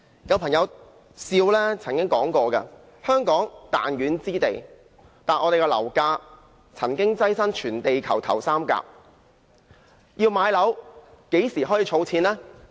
有朋友取笑說香港是彈丸之地，但我們的樓價曾經躋身全地球頭三甲，要買樓，何時開始儲錢呢？